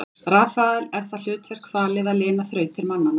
Rafael er það hlutverk falið að lina þrautir mannanna.